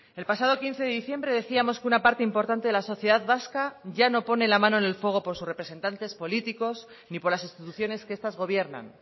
el pasado quince de diciembre decíamos que una parte importante de la sociedad vasca ya no pone la mano en el fuego por sus representantes políticos ni por las instituciones que estas gobiernan